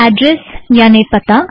address यानि पता